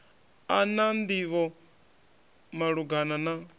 a na nḓivho malugana na